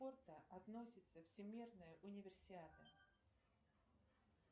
относится всемирная универсиада